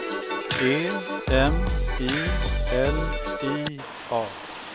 E M I L I A